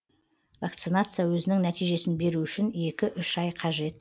вакцинация өзінің нәтижесін беру үшін екі үш ай қажет